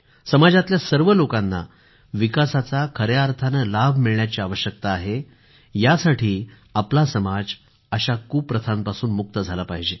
समाजातल्या सर्व लोकांना विकासाचा खऱ्या अर्थाने लाभ मिळण्याची आवश्यकता आहे यासाठी आपला समाज अशा कुप्रथांपासून मुक्त झाला पाहिजे